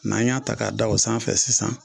N'an y'a ta k'a da o sanfɛ sisan